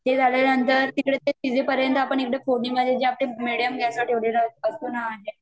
ते झाल्यानंतर तिकडे ते भिजेपर्यन्त आपण इकडे फोडणी मध्ये जे आपले मीडियम गॅस वर ठेवलेले असतो न अंडे